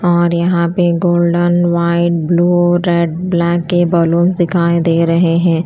और यहां पे golden white blue red black के बैलून दिखाएं दे रहे हैं।